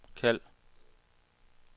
kald